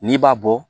N'i b'a bɔ